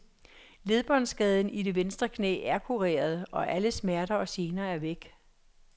Ledbåndskaden i det venstre knæ er kureret, og alle smerter og gener er væk.